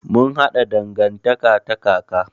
Mun haɗa dangantaka ta kaka.